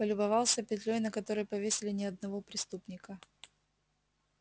полюбовался петлёй на которой повесили не одного преступника